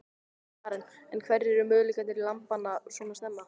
Karen: En hverjir eru möguleikar lambanna svona snemma?